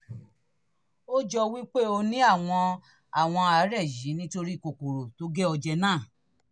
ó jọ wí pé o ní àwọn àwọn àárẹ̀ yìí nítorí kòkòrò tó gé ọ jẹ náà